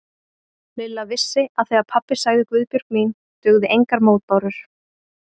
Lilla vissi að þegar pabbi sagði Guðbjörg mín dugðu engar mótbárur.